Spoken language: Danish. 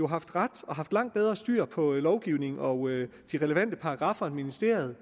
haft ret og haft langt bedre styr på lovgivningen og de relevante paragraffer end ministeriet